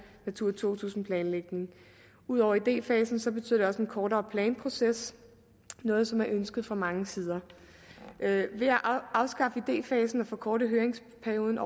natura to tusind planlægning ud over idéfasen betyder det også en kortere planproces noget som er ønsket fra mange sider ved at afskaffe idéfasen og forkorte høringsperioden